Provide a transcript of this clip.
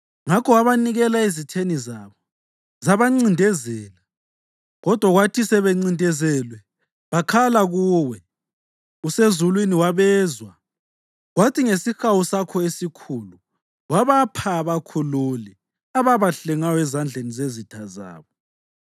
Ngakho wabanikela ezitheni zabo, zabancindezela. Kodwa kwathi sebencindezelwe bakhala kuwe. Usezulwini wabezwa, kwathi ngesihawu sakho esikhulu wabapha abakhululi, ababahlengayo ezandleni zezitha zabo.